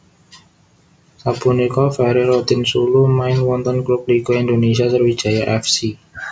Sapunika Ferry Rotinsulu main wonten klub Liga Indonésia Sriwijaya F C